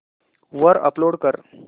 वर अपलोड कर